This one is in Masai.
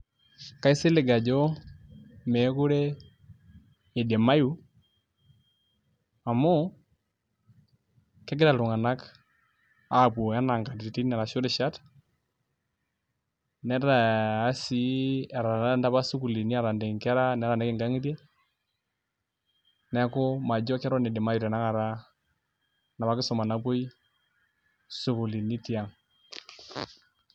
Kaisilig ajo mekure idimayu amu, kegira iltung'anak apuo enaa nkatitin arashu rishat, etataanta apa sukuulini ataniki nkera nitaaniki nkang'itie, neeku majo keton idimayu tanakata enapa kisuma napuoi sukuulini tiang'.